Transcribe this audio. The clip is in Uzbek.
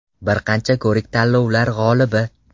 Bir qancha ko‘rik-tanlovlar g‘olibi.